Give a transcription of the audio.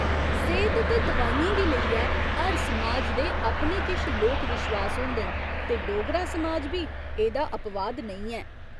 सेह्त ते दवाइयें गी लेइयै हर समाज दे अपने किश लोक विश्वास होंदे न ते डोगरा समाज बी एह्दा अपवाद नेईं ऐ।